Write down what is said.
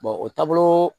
o taaboloo